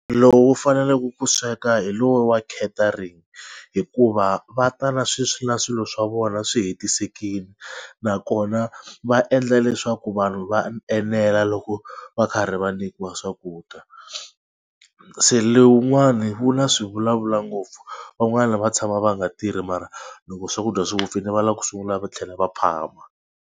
Lowu faneleke ku sweka hi lowu wa catering hikuva va ta na na swilo swa vona swi hetisekile nakona va endla leswaku vanhu va enela loko va karhi va nyikiwa swakudya. Se le wun'wani wu na swi vulavula ngopfu van'wani va tshama va nga tirhi mara loko swakudya swi vupfile va lava ku sungula va tlhela va phama.